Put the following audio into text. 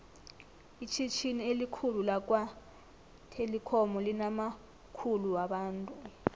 itjhitjhini elikhulu lakwa telikhomu linamakukhulu wabantu